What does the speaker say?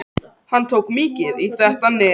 Hann tók mikið í þetta nef.